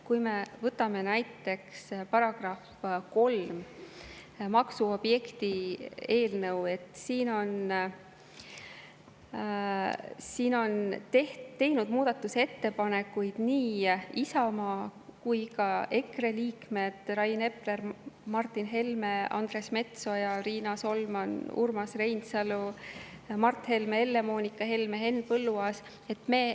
Kui me võtame näiteks eelnõu § 3 maksuobjekti kohta, siis siin on teinud muudatusettepanekuid nii Isamaa kui ka EKRE liikmed: Rain Epler, Martin Helme, Andres Metsoja, Riina Solman, Urmas Reinsalu, Mart Helme, Helle-Moonika Helme, Henn Põlluaas.